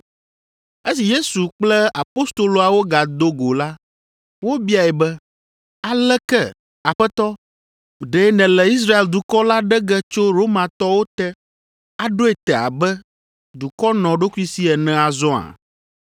Esi Yesu kple apostoloawo gado go la, wobiae be, “Aleke, Aƒetɔ, ɖe nèle Israel dukɔ la ɖe ge tso Romatɔwo te, aɖoe te abe dukɔ nɔɖokuisi ene azɔa?”